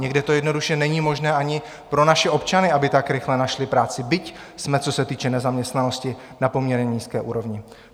Někde to jednoduše není možné ani pro naše občany, aby tak rychle našli práci, byť jsme, co se týče nezaměstnanosti, na poměrně nízké úrovni.